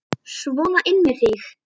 Sona inn með þig!